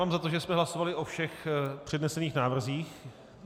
Mám za to, že jsme hlasovali o všech přednesených návrzích...